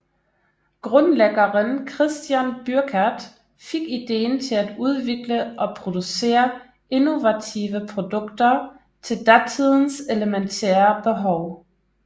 Grundlæggeren Christian Bürkert fik ideen til at udvikle og producere innovative produkter til datidens elementære behov